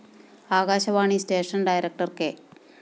Akashvani station director K